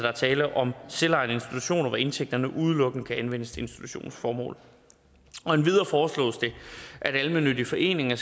er tale om selvejende institutioner hvor indtægterne udelukkende kan anvendes til institutionens formål endvidere foreslås det at almennyttige foreninger